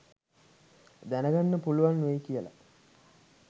දැන ගන්න පුළුවන් වෙයි කියලා